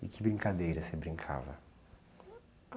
E que brincadeiras você brincava?